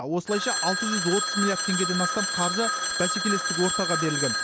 осылайша алты жүз отыз миллиард теңгеден астам қаржы бәсекелестік ортаға берілген